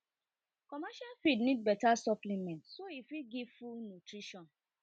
commercial need better supplement nutrition